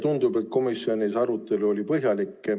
Tundub, et komisjoni arutelu oli põhjalik.